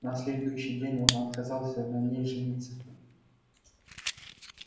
на следующий день он отказался на ней жениться